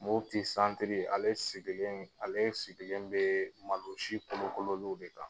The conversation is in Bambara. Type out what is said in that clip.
Moti santiri ale sigilen ale sigilen bɛ malo gosi kolo kololenw de kan.